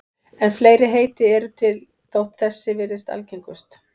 En fleiri heiti eru til þótt þessi virðist algengust.